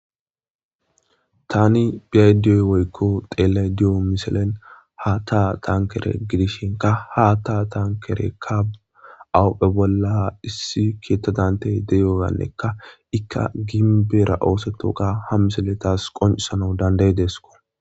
tani biyaydiyoy woykko xeelle di7o miselen ha taa tankere gidishinka ha ta tankerekka awupphe bolla issi keettadantey deyoyannekka ikka ginbeera ooseto ka ha miseletas qoncisano dandayi deesko